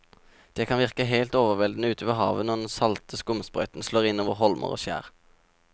Det kan virke helt overveldende ute ved havet når den salte skumsprøyten slår innover holmer og skjær.